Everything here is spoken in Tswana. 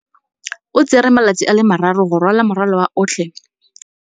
O tsere malatsi a le marraro go rwala morwalo otlhe wa gagwe ka llori.